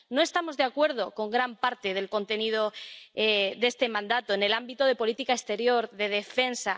No estamos de acuerdo con gran parte del contenido de este mandato en el ámbito de la política exterior y en el de defensa.